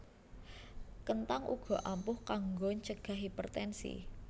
Kenthang uga ampuh kanggo ncegah hipertensi